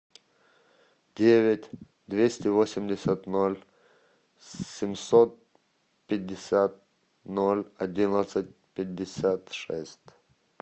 девять двести восемьдесят ноль семьсот пятьдесят ноль одиннадцать пятьдесят шесть